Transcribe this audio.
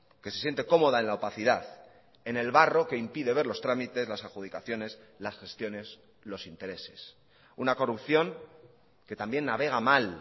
que se siente cómoda en la opacidad en el barro que impide ver los tramites las adjudicaciones las gestiones los intereses una corrupción que también navega mal